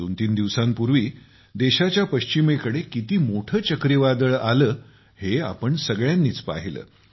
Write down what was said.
दोनतीन दिवसांपूर्वी देशाच्या पश्चिमेकडे किती मोठे चक्रीवादळ आले हे आपण सगळ्यांनीच पाहिले